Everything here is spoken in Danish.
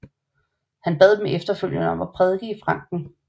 Han bad dem efterfølgende om at prædike i Franken